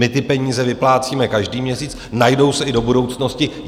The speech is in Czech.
My ty peníze vyplácíme každý měsíc, najdou se i do budoucnosti.